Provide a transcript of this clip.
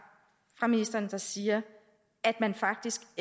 fra ministeren der siger at man faktisk